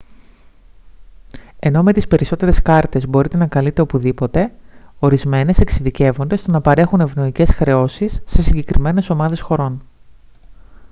ενώ με τις περισσότερες κάρτες μπορείτε να καλείτε οπουδήποτε ορισμένες εξειδικεύονται στο να παρέχουν ευνοϊκές χρεώσεις σε συγκεκριμένες ομάδες χωρών